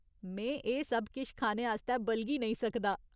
में एह् सब किश खाने आस्तै बलगी नेईं सकदा।